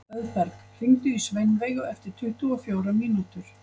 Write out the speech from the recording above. Auðberg, hringdu í Sveinveigu eftir tuttugu og fjórar mínútur.